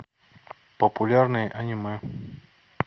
популярные аниме